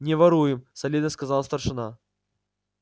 не воруем солидно сказал старшина